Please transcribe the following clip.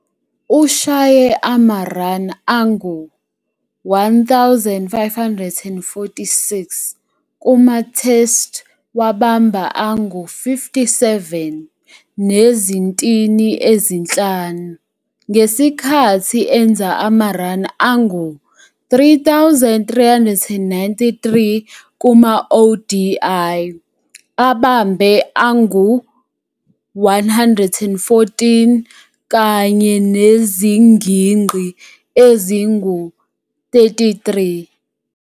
Ushaye ama-run angu-1,546 kuma-Test wabamba angu-57 nezintini ezinhlanu, ngesikhathi enza ama-run angu-3,393 kuma-ODI abambe angu-114 kanye nezigingqi ezingu-33.